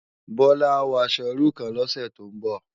Bola á wò aṣò irú kán lòsè tó n bò